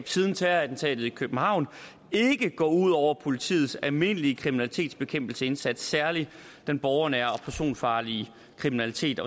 siden terrorattentatet i københavn ikke går ud over politiets almindelige kriminalitetsbekæmpelsesindsats særlig den borgernære og personfarlige kriminalitet